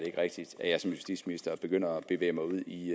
ikke rigtigt at jeg som justitsminister begynder at bevæge mig ud i